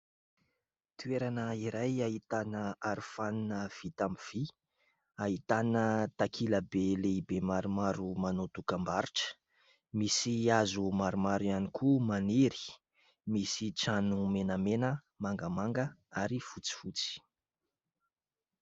Toerana iray ahitana arofanina vita amin'ny vy, ahitana takila be lehibe maromaro manao dokambarotra, misy hazo maromaro ihany koa maniry misy trano menamena, mangamanga ary fotsifotsy.